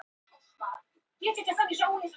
Öllum verið sleppt úr haldi